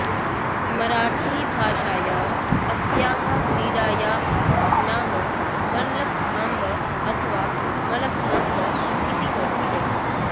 मराठी भाषायाम् अस्याः क्रीडायाः नाम मल्लखांब अथवा मलखांब इति वर्तते